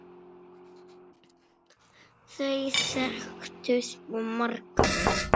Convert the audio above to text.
Þau þekktu svo marga.